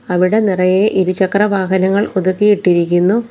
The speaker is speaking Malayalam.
അവിടെ നിറയെ ഇരുചക്ര വാഹനങ്ങൾ ഒതുക്കിയിട്ടിരിക്കുന്നു.